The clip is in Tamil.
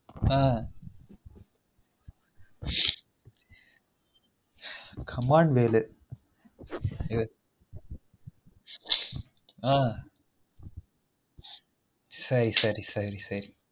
ஆஹ் comment வேறு ஆஹ் சரி சரி